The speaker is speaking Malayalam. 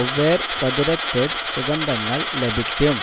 ഒവെര്സതുരതെദ് സുഗന്ധങ്ങൾ ലഭിക്കും